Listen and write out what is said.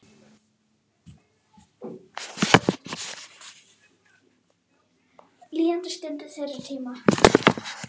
Líðandi stund er þeirra tími.